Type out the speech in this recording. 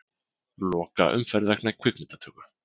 Loka umferð vegna kvikmyndatöku